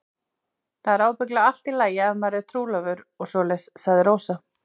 Það er ábyggilega allt í lagi ef maður er trúlofaður og svoleiðis, sagði Rósa.